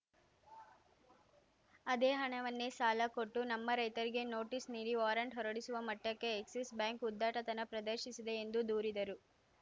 ಅದೇ ಹಣವನ್ನೇ ಸಾಲ ಕೊಟ್ಟು ನಮ್ಮ ರೈತರಿಗೆ ನೋಟಿಸ್‌ ನೀಡಿ ವಾರಂಟ್‌ ಹೊರಡಿಸುವ ಮಟ್ಟಕ್ಕೆ ಎಕ್ಸಿಸ್‌ ಬ್ಯಾಂಕ್‌ ಉದ್ಧಟತನ ಪ್ರದರ್ಶಿಸಿದೆ ಎಂದು ದೂರಿದರು